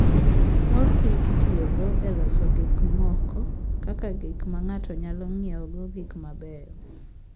Mor kich itiyogo e loso gik moko kaka gik ma ng'ato nyalo ng'iewogo gik mabeyo.